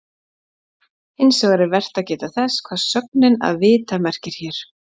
Hins vegar er vert að geta þess hvað sögnin að vita merkir hér.